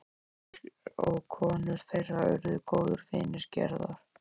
En þeir og konur þeirra urðu góðir vinir Gerðar.